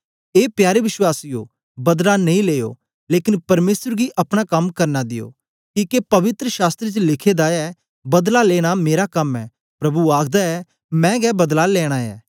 ए प्यारे वश्वासीयो बदला नेई लेना लेकन परमेसर गी अपना कम करन दियो किके पवित्र शास्त्र च लिखे दा ऐ बदला लेना मेरा कम ऐ प्रभु आखदा ऐ मैं गै बदला लेना ऐ